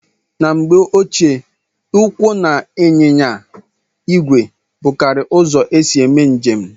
Na mgbe ochie ụkwụ na ịnyịnya ìgwè bụkarịrị uzo esị eme njem